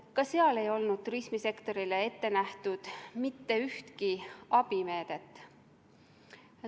Ka seal ei olnud turismisektorile ette nähtud mitte ühtki abimeedet.